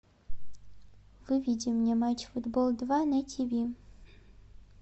выведи мне матч футбол два на тв